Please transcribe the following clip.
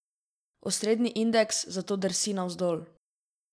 Osrednji indeks zato drsi navzdol.